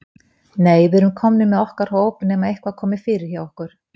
Nei, við erum komnir með okkar hóp nema eitthvað komi fyrir hjá okkur.